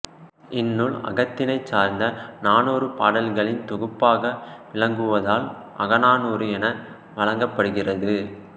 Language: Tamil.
இந்நூல் அகத்திணை சார்ந்த நானூறு பாடல்களின் தொகுப்பாக விளங்குவதால் அகநானூறு என வழங்கப்படுகிறது